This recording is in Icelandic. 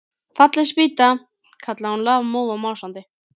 Fallin spýta! kallaði hún lafmóð og másandi.